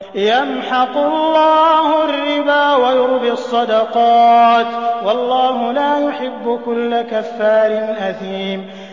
يَمْحَقُ اللَّهُ الرِّبَا وَيُرْبِي الصَّدَقَاتِ ۗ وَاللَّهُ لَا يُحِبُّ كُلَّ كَفَّارٍ أَثِيمٍ